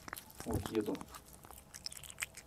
овьедо